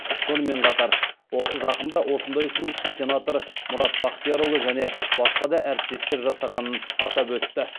сонымен қатар ол жақында осындай ұсынысты сенатор мұрат бақтиярұлы және басқа да әріптестер жасағанын атап өтті